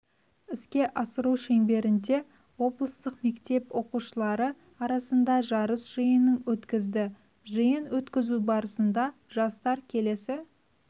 іске асыру шеңберінде облыстық мектеп оқушылары арасында жарыс жиының өткізді жиын өткізу барысында жарыстар келесі